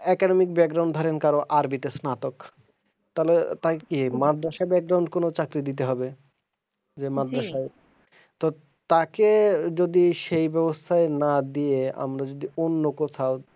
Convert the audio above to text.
academic ধরেন কারোর army তে স্নাতক তাহলে তারে কি মাদ্রাসা কোনো চাকরি দিতে হবে, যে মাদ্রাসায় তো তাকে যদি সেই বেবস্থায় না দিয়ে আমরা যদি অন্য কোথাও,